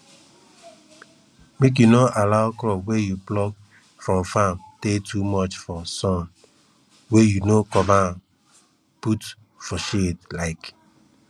make you no allow crop wey you pluck from farm tey too much for sun wey you no cover am put for shade um